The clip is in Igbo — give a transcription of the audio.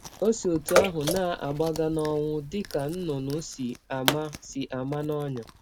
Ọ si ọtụ ahụ na - agbaga n’ọnwụ dị ka nnụnụ si ama si ama n’ọnyà!